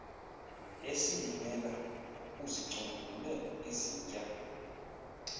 esilimela uzicombulule izintya